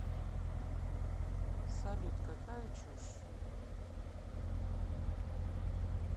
салют какая чушь